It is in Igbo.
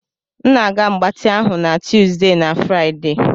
M na-aga mgbatị ahụ na Tuesday na Friday.